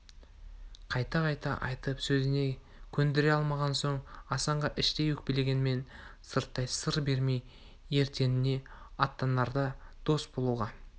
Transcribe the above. қайта-қайта айтып сөзіне көндіре алмаған соң асанға іштей өкпелегенмен сырттай сыр бермей ертеңіне аттанарда дос болуға